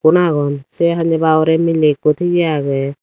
magun sei hanjaba hurey miley ekko tigey aagey.